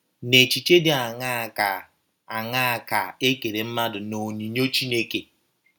N’echiche dị aṅaa ka aṅaa ka e kere mmadụ n’onyinyo Chineke?